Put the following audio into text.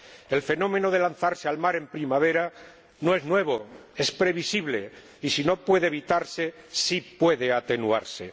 El fenómeno de lanzarse al mar en primavera no es nuevo —es previsible— y, si bien no puede evitarse, sí puede atenuarse.